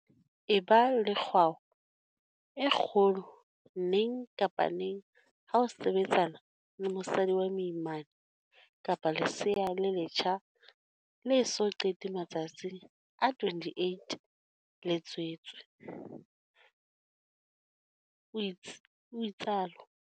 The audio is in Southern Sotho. Eba le kgwao e kgolo neng kapa neng ha o sebetsana le mosadi wa moimana kapa lesea le letjha le eso qete matsatsi a 28 le tswetswe, o itsalo.